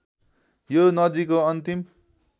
यो नदीको अन्तिम